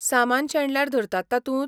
सामान शेणल्यार धरतात तातूंत?